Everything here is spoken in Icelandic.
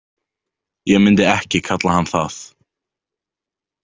Ég myndi ekki kalla hann það.